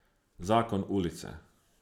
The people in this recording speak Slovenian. Zakon ulice.